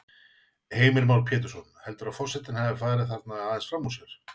Heimir Már Pétursson: Heldurðu að forsetinn hafi farið þarna aðeins fram úr sér?